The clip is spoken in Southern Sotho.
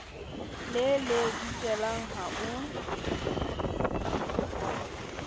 le le dikelang ha o